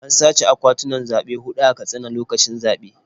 An sace akwatunan zaɓe huɗu a Katsina lokacin zaɓe.